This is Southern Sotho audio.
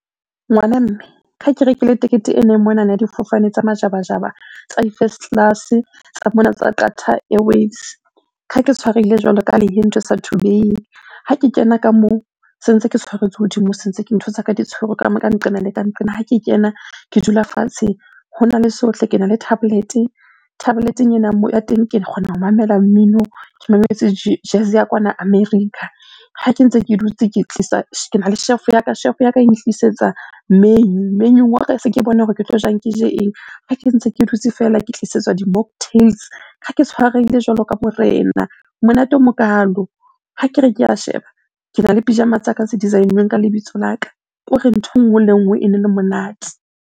Ngwana mme, ke ha ke rekile tekete ena e monana ya difofane tsa majabajaba, tsa di-first class-e, tsa nona tsa Qatar Airways. Kha ke tshwarehile jwalo ka ha lehe nthwe sa thubeheng. Ha ke kena ka moo, se ntse ke tshwaretswe hodimo, se ntse ntho tsa ka di tshwerwe ka ka nqena le ka nqena. Ha ke kena ke dula fatshe hona le sohle. Kena le tablet-e, tablet-eng ena ya teng ke kgona ho mamela mmino, ke mametse jazz ya kwana America. Ha ke ntse ke dutse ke tlisa kena le chef ya ka, chef ya ka e ntlisetsa menu. Menu wa ka se ke bona hore ke tlo jang, ke je eng? Ha ke ntse ke dutse fela, ke tlisetswa di-mocktail. Kha ke tshwarehile jwalo ka morena, monate o mokalo. Ha ke re ke a sheba, kena le pyjama tsa ka tse design-uweng ka lebitso la ka. Ke hore ntho e nngwe le e nngwe ene le monate.